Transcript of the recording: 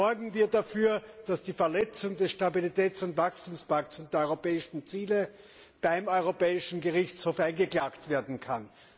Sorgen wir dafür, dass die Verletzung des Stabilitäts und Wachstumspakts und der europäischen Ziele beim Europäischen Gerichtshof eingeklagt werden kann!